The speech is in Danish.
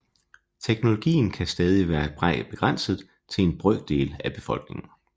Teknologien kan stadigvæk være begrænset til en brøkdel af befolkningen